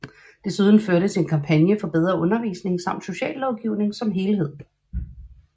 Desuden førtes en kampagne for bedre undervisning samt sociallovgivning som helhed